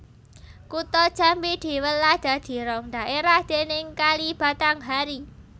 Kutha Jambi diwelah dadi rong dhaérah déning Kali Batanghari